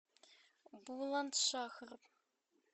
буландшахр